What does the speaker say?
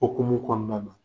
Okumu kɔɔna na